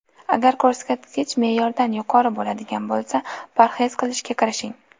Agar ko‘rsatkich me’yordan yuqori bo‘ladigan bo‘lsa, parhez qilishga kirishing.